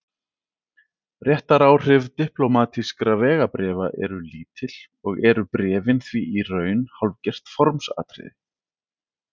Réttaráhrif diplómatískra vegabréfa eru lítil og eru bréfin því í raun hálfgert formsatriði.